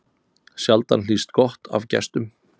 Sjaldan hlýst gott af gestum.